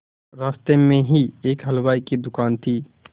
रास्ते में ही एक हलवाई की दुकान थी